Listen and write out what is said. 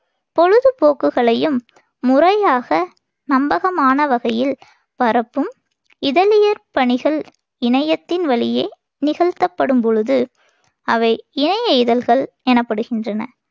பொழுதுபோக்குகளையும் முறையாக நம்பகமான வகையில் பரப்பும் இதழியற் பணிகள் இணையத்தின் வழியே நிகழ்த்தப்படும் பொழுது அவை இணைய இதழ்கள் எனப்படுகின்றன.